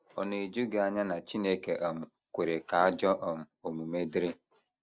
Ọ̀ na - eju gị anya na Chineke um kwere ka ajọ um omume dịrị?